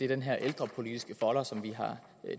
den her ældrepolitiske folder som vi har